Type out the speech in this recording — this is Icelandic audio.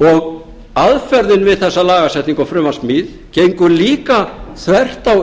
og aðferðin við þessa lagasetningu og frumvarpssmíð gengur líka þvert á